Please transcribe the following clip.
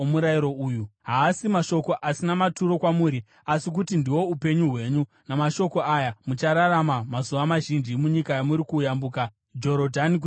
Haasi mashoko asina maturo kwamuri, asi kuti ndihwo upenyu hwenyu. Namashoko aya muchararama mazuva mazhinji munyika yamuri kuyambuka Jorodhani kuti muitore.”